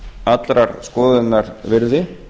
allrar skoðunar virði